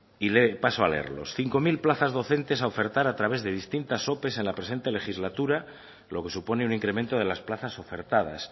y paso a leerlos cinco mil plazas docentes a ofertar a través de distintas ope en la presente legislatura lo que supone un incremento de las plazas ofertadas